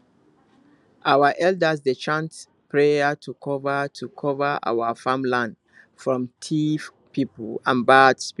our elders dey chant prayer to cover to cover our farm land from thief people and bad spirits